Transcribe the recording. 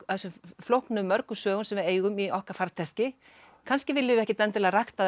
flóknu mörgu sögum sem við eigum í okkar farteski kannski viljum við ekkert rækta þær